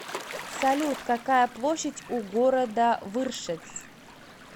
салют какая площадь у города выршец